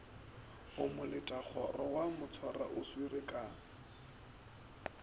o moletakgoro wa motšwaoswere ka